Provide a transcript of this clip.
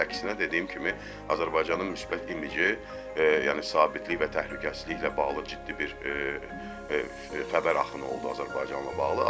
Əksinə dediyim kimi, Azərbaycanın müsbət imici, yəni sabitlik və təhlükəsizliklə bağlı ciddi bir xəbər axını oldu Azərbaycanla bağlı.